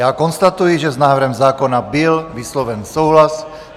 Já konstatuji, že s návrhem zákona byl vysloven souhlas.